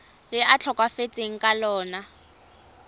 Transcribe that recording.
le a tlhokafetseng ka lona